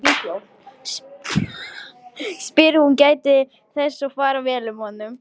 spyr hún og gætir þess að fara vel að honum.